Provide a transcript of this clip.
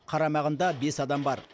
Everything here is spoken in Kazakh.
қарамағында бес адам бар